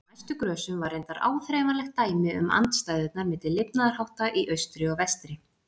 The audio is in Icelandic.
Á næstu grösum var reyndar áþreifanlegt dæmi um andstæðurnar milli lifnaðarhátta í austri og vestri.